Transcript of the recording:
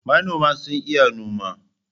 manoma sun iya noma.